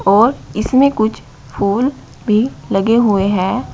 और इसमे कुछ फूल भी लगे हुए हैं।